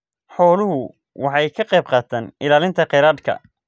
Xooluhu waxay ka qaybqaataan ilaalinta kheyraadka.